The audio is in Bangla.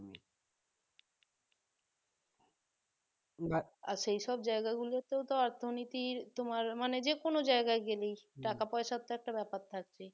আর এসব জায়গাগুলোতেও অর্থনীতি তোমার মানে যে কোন জায়গায় গেলেই পয়সা তো একটা ব্যাপার থাকবে